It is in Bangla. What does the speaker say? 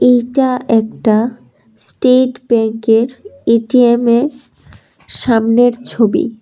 এইটা একটা স্টেট ব্যাংকের এ_টি_এম এর সামনের ছবি।